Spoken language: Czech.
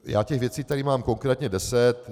Já těch věcí tady mám konkrétně deset.